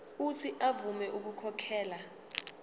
uuthi avume ukukhokhela